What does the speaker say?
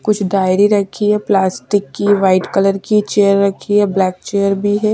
कुछ डायरी रखी है प्लास्टिक की वाइट कलर की चेयर रखी है ब्लैक चेयर भी है --